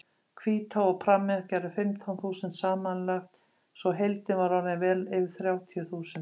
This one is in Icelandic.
Hvítá og pramminn gerðu fimmtán þúsund samanlagt svo heildin var orðin vel yfir þrjátíu þúsund.